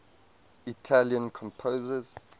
italian composers